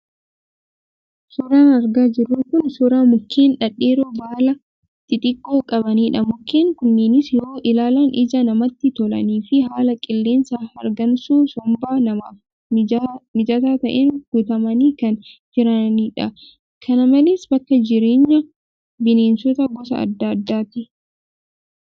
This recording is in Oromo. Suuraan argaa jirru kun suuraa mukeen dhedheeroo baala xixiqqaa qabanidha. Mukeen kunneenis yoo ilaalan ija namaatti tolanii fi haala qilleensaa hargansuu somba namaaf mijataa ta'een guutamanii kan jiranidha. Kana malees bakka jireenya bineensota gosa adda addaati.